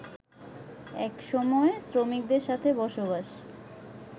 একসময় শ্রমিকদের সাথে বসবাস